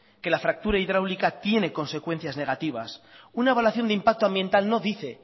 que la fractura hidráulica tiene consecuencias negativas una evaluación de impacto ambiental no dice